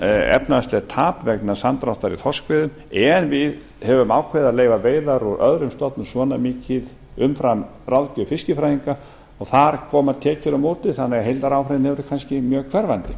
efnahagslegt tap vegna samdráttar í þorskveiðum en við höfum ákveðið að leyfa veiðar úr öðrum stofnum svona mikið umfram ráðgjöf fiskifræðinga og þar koma tekjur á móti þannig að heildaráhrifin eru kannski mjög hverfandi